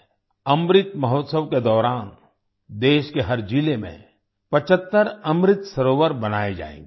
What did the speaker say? अमृत महोत्सव के दौरान देश के हर जिले में 75 अमृत सरोवर बनाये जायेंगे